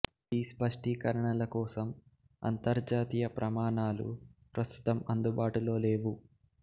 ఈ స్పష్టీకరణల కోసం అంతర్జాతీయ ప్రమాణాలు ప్రస్తుతం అందుబాటులో లేవు